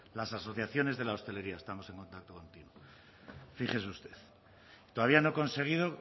las asociaciones de la hostelería estamos en contacto fíjese usted todavía no he conseguido